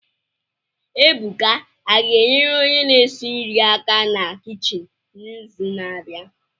Ebuka a ga-enyere onye na-esi nri aka na kichin n'izu na-abịa